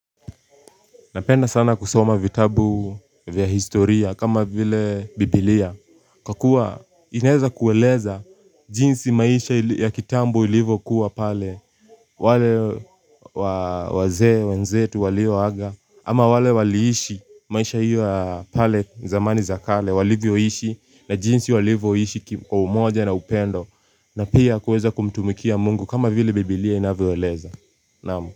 Napenda sana kusoma vitabu vya historia kama vile biblia, kwa kuwa inaweza kueleza jinsi maisha ya kitambo ilivyo kuwa pale, wale waze, wenzetu, wale haga, ama wale waliishi maisha iyo pale zamani zakale, wali vioishi na jinsi wali vioishi kwa umoja na upendo, na pia kueza kumtumikia mungu kama vile biblia inaweweleza.